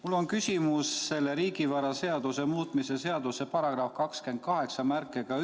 Mul on küsimus selles riigivaraseaduse muutmise seaduse eelnõus esitatud § 281 lõike 2 kohta.